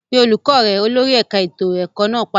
Pe olùkọ́ rẹ! Olórí ẹ̀ka ètò ẹ̀kọ́ náà pàṣẹ.